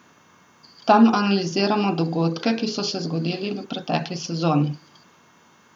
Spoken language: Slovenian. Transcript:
Tam analiziramo dogodke, ki so se zgodili v pretekli sezoni.